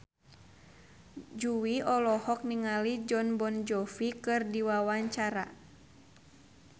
Jui olohok ningali Jon Bon Jovi keur diwawancara